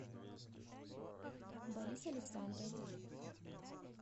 борис александрович